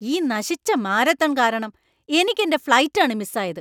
ഈ നശിച്ച മാരത്തൺ കാരണം എനിക്കെൻ്റെ ഫ്ലൈറ്റ് ആണ് മിസ്സായത്.